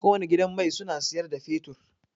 Kowane gidan mai suna siyar da fetur.